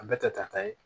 A bɛɛ kɛ ta ta ye